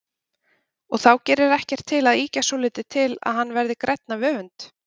Og þá gerir ekkert til að ýkja svolítið til að hann verði grænn af öfund.